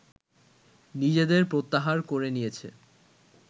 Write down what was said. নিজেদের প্রত্যাহার করে নিয়েছে